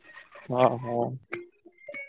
ହଁ ହଉ।